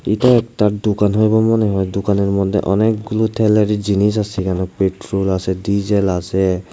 এটা একটা দোকান হইব মনে হয় দোকানের মধ্যে অনেকগুলো তেলের জিনিস আসে এখানে পেট্রোল আসে ডিজেল আসে ।